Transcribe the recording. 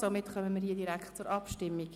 Somit kommen wir direkt zur Abstimmung.